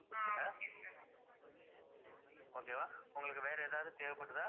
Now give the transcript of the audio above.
okay வா உங்களுக்கு வேற ஏதாவது தேவைப்படுதா?